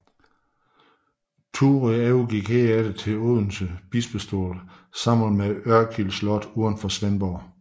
Thurø overgik herefter til Odense Bispestol sammen med Ørkild Slot uden for Svendborg